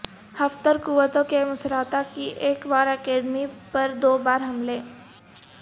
Haftar قوتوں کے Misrata کی ایک وار اکیڈمی پر دو بار حملے